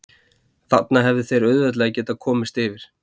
Þarna hefðu þeir auðveldlega getað komist yfir.